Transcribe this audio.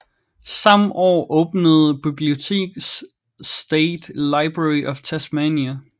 Samme år åbnede biblioteket State Library of Tasmania